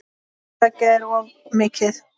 Hvort tveggja er of mikið.